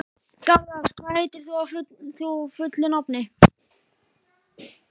Garðar, hvað heitir þú fullu nafni?